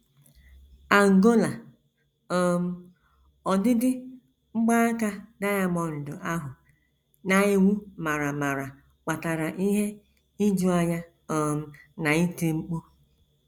Angola: um “ Ọdịdị mgbaaka diamọnd ahụ na - enwu mara mara kpatara ihe ijuanya um na iti mkpu.